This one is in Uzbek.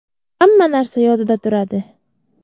Hamma narsa yodida turadi.